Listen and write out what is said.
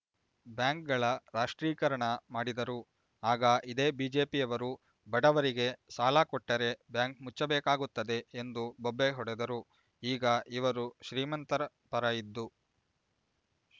ಬ್ಯಾಂಕ್‌ಗಳ ರಾಷ್ಟ್ರೀಕರಣ ಮಾಡಿದರು ಆಗ ಇದೇ ಬಿಜೆಪಿಯವರು ಬಡವರಿಗೆ ಸಾಲ ಕೊಟ್ಟರೆ ಬ್ಯಾಂಕ್ ಮುಚ್ಚಬೇಕಾಗುತ್ತದೆ ಎಂದು ಬೊಬ್ಬೆ ಹೊಡೆದರು ಈಗ ಇವರು ಶ್ರೀಮಂತರ ಪರ ಇದ್ದು